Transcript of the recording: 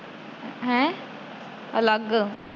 ਹੈ! ਅਲੱਗ